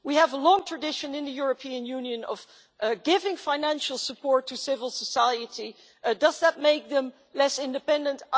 We have a long tradition in the European Union of giving financial support to civil society does that make them less independent?